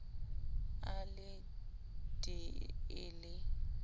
a le d e le